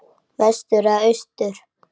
Vestur eða austur?